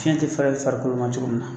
Fiɲɛ tɛ fɛrɛ farikolo ma cogo min na